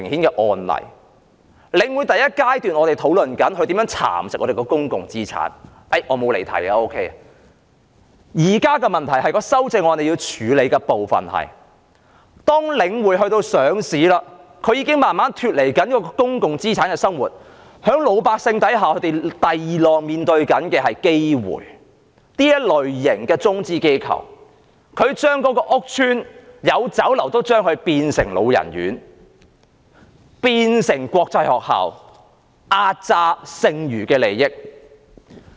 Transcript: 在第一階段，我們討論領匯如何蠶食香港的公共資產——我並沒有離題——現在的問題是，當領匯上市後，已經逐漸脫離公共資產的運作模式，而老百姓正面對第二浪的危機，即中資機構會將屋邨中的酒樓變為安老院和國際學校，壓榨剩餘的利益。